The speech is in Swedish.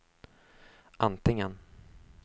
antingen